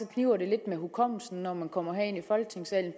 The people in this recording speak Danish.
kniber det lidt med hukommelsen når man kommer herind i folketingssalen